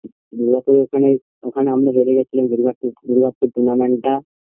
দূর্গাপুরে ওখানে ওখানে আমরা হেরে গিয়ে ছিলাম দূর্গাপুর tournament -টা